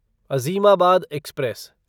Azimabad express